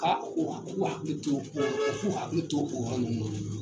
Ka o ka u k'u hakili to u k'u hakili to o yɔrɔ ninnu na